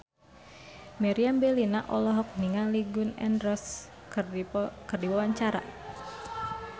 Meriam Bellina olohok ningali Gun N Roses keur diwawancara